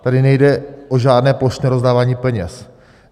Tady nejde o žádné plošné rozdávání peněz.